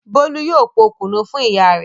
Bólú yóò po kùnú fún ìyá rẹ̀.